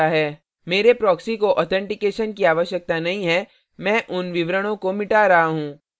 मेरे proxy को authentication की आवश्यकता नहीं है मैं उन विवरणो को मिटा रहा हूँ